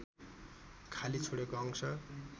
खाली छोडेको अंश